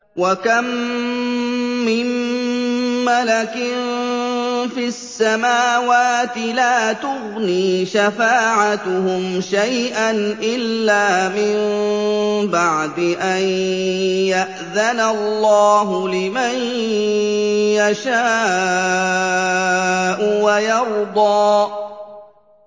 ۞ وَكَم مِّن مَّلَكٍ فِي السَّمَاوَاتِ لَا تُغْنِي شَفَاعَتُهُمْ شَيْئًا إِلَّا مِن بَعْدِ أَن يَأْذَنَ اللَّهُ لِمَن يَشَاءُ وَيَرْضَىٰ